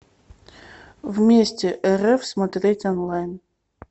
вместе рф смотреть онлайн